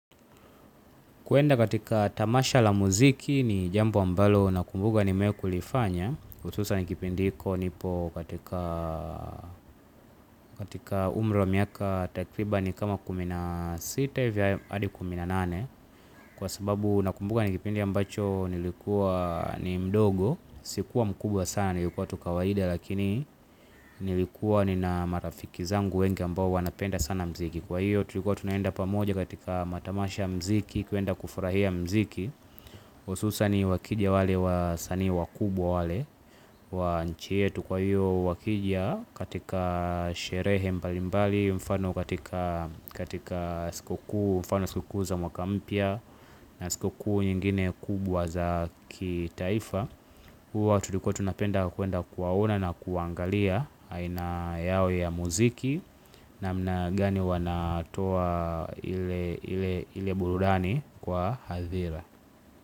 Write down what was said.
Kwenda katika tamasha la muziki ni jambo ambalo nakumbuka nimewahi kulifanya, hususan kipindi hiko nipo katika katika umri wa miaka takriban kama kumi na sita hivi hadi kumi na nane, kwa sababu nakumbuka ni kipindi ambacho nilikuwa ni mdogo, sikuwa mkubwa sana, nilikuwa tu kawaida, lakini nilikuwa nina marafiki zangu wengi ambao wanapenda sana muziki. Kwa hiyo tulikuwa tunaenda pamoja katika matamasha ya muziki, kuenda kufurahia muziki. Hususan wakija wale wasanii wakubwa, wale wa nchi yetu, kwa hiyo wakija katika sherehe mbalimbali, mfano katika siku kuu, kwa mfano siku kuu za mwaka mpya. Na siku kuu nyingine kubwa za kitaifa huwa tutikuwa tunapenda kuenda kuwaona na kuangalia aina yao ya muziki, namna gani wanatoa ile burudani kwa hadhira.